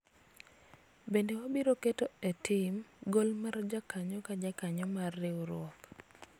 bende wabiro dwaro keto e tim gol mar jakanyo ka jakanyo mar riwruok